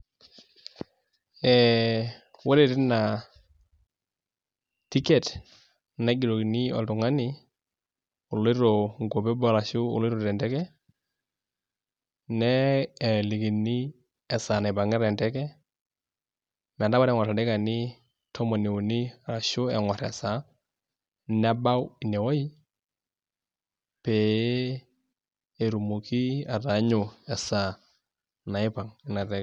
Ee ore tina tiket naigerokini oltungani oloito inkuapi eboo ashu aoloito tenteke nelikini esaa naipankita enteke, metaa ore enkor ildaikani tomon uni ashuu enkor esaa, nebau inewoji pee etumoki ataanyu esaa naipang ina teke.